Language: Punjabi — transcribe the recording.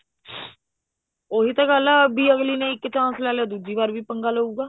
ਉਹੀ ਤਾਂ ਗੱਲ ਹੈ ਅਗਲੇ ਨੇ ਇੱਕ chance ਲੈ ਲਿਆ ਦੂਸਰੀ ਵਾਰ ਵੀ ਪੰਗਾ ਲਉਗਾ